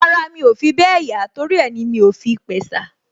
Ara mi ò fi bẹ́ẹ̀ yá torí ẹ ni mi ò fi pẹ̀sà